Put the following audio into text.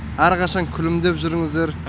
әрқашан күлімдеп жүріңіздер